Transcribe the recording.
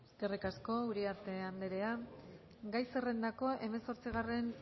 eskerrik asko uriarte andrea gai zerrendako hemezortzigarren